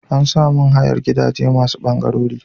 Ana samun hayar gidaje masu bangarori.